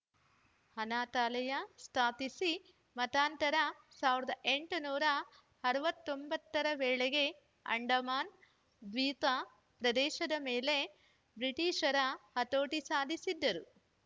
ಅನಾಥಾಲಯ ಸ್ಥಾಪಿಸಿ ಮತಾಂತರ ಸಾವಿರದ ಎಂಟುನೂರ ಅರವತ್ತ್ ಒಂಬತ್ತ ರ ವೇಳೆಗೆ ಅಂಡಮಾನ್‌ ದ್ವೀತ ಪ್ರದೇಶದ ಮೇಲೆ ಬ್ರಿಟಿಷರು ಹತೋಟಿ ಸಾಧಿಸಿದ್ದರು